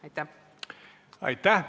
Aitäh!